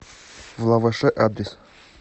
влаваше адрес